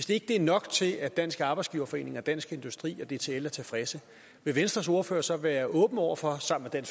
det ikke er nok til at dansk arbejdsgiverforening og dansk industri og dtl er tilfredse vil venstres ordfører så være åben over for sammen med